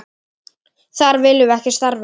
Þar viljum við ekki starfa.